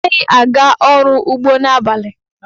Anaghị aga ọrụ ugbo n'abalị.